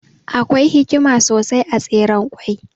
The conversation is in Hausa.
Akwai hikima sosai a Tseren ƙwai.